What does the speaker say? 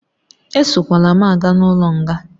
Esokwala m aga n'ụlọ nga